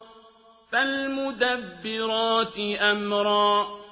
فَالْمُدَبِّرَاتِ أَمْرًا